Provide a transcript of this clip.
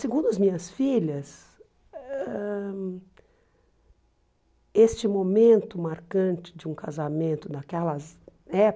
Segundo as minhas filhas, ãh este momento marcante de um casamento naquelas época,